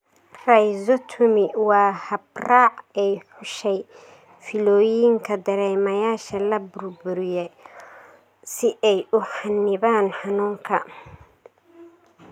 Rhizotomy waa habraac ay xushay fiilooyinka dareemayaasha la burburiyo si ay u xannibaan xanuunka.